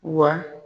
Wa